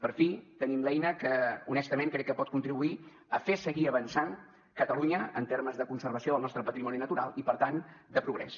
per fi tenim l’eina que honestament crec que pot contribuir a fer seguir avançant catalunya en termes de conservació del nostre patrimoni natural i per tant de progrés